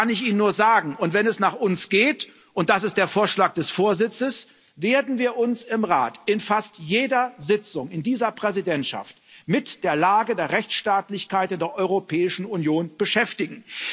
Das kann ich Ihnen nur sagen, und wenn es nach uns geht und das ist der Vorschlag des Vorsitzes werden wir uns im Rat in fast jeder Sitzung in dieser Präsidentschaft mit der Lage der Rechtsstaatlichkeit in der Europäischen Union beschäftigen.